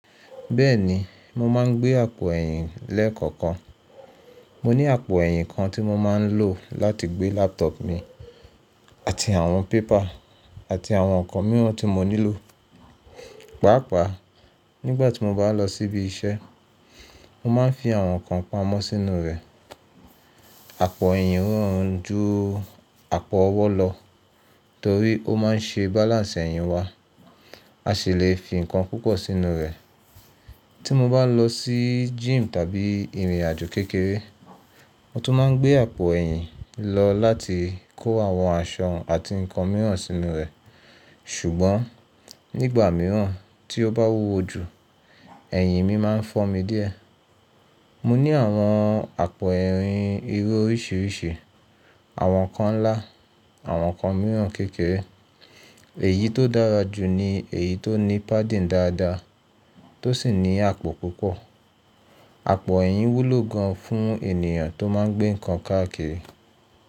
Bẹ́ẹ̀ni, mo máa ń gbé àpò ẹ̀yìn lẹ́ẹ̀kọ̀kan. Mo ní àpò ẹ̀yìn kan tí mo máa ń lò láti gbé laptop mi àti àwọn paper àti àwọn nǹkan mìíràn tí mo nílò. Pàápàá, nígbà tí mo bá lọ sí ibi iṣẹ́, mo máa ń fi àwọn nǹkan pamọ́ sínú rẹ̀. Àpò ẹ̀yìn rọrùn ju àpò ọwọ́ lọ torí ó máa ń ṣe balance ẹ̀yìn wa. A sì le fi nǹkan púpọ̀ sínú rẹ̀. Tí mo bá lọ sí gym tàbí ìrìnàjò kékeré, mo tún máa ń gbé àpò ẹ̀yìn lọ láti kó àwọn aṣọ àti nǹkan mìíràn sínú rẹ̀. Ṣùgbọ́n nígbà mìíràn tí ó bá wúwo ju, ẹ̀yìn mi máa ń fọ́ mi díẹ̀. Mo ní àwọn àpò ẹ̀yìn irú oríṣiríṣi. Àwọn kan ńlá, àwọn kan mìíràn kékeré. Èyí tó dára jù ni èyí tó ní padding dáadáa, tó sì ní àpò púpọ̀. Àpò ẹ̀yìn wúlò gan fún ènìyàn tó máa ń gbé nǹkan káàkiri.